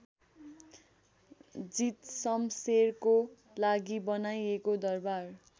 जीतशमशेरको लागि बनाइएको दरबार